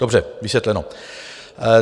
Dobře, vysvětleno.